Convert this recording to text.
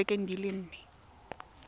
mo dibekeng di le nne